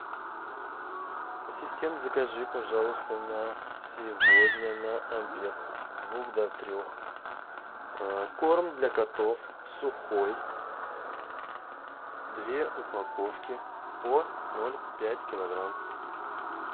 ассистент закажи пожалуйста на сегодня на обед с двух до трех корм для котов сухой две упаковки по ноль пять килограмм